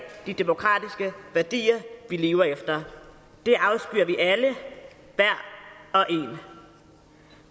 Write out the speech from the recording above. de demokratiske værdier vi lever efter det afskyr vi alle hver og en